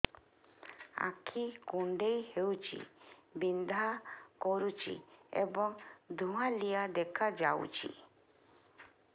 ଆଖି କୁଂଡେଇ ହେଉଛି ବିଂଧା କରୁଛି ଏବଂ ଧୁଁଆଳିଆ ଦେଖାଯାଉଛି